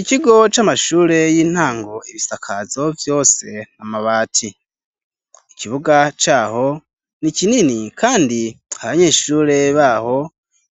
Ikigo c'amashure y'intango. Ibisakazo vyose ni amabati. Ikibuga caho ni kinini kandi abanyeshure baho,